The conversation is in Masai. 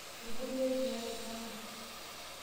Etubulua eriya tolchamba.